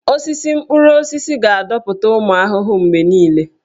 Osisi mkpụrụ osisi ga-adọta ụmụ ahụhụ mgbe niile.